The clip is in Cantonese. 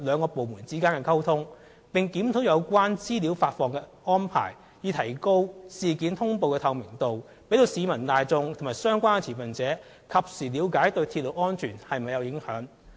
屋宇署和機電署並正檢討有關資料發放的安排，以提高事件通報的透明度，讓市民大眾及相關持份者及時了解鐵路安全是否受影響。